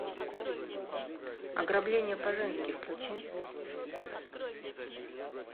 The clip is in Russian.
ограбление по женски включи